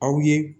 Aw ye